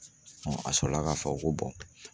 a sɔrɔla ka fɔ ko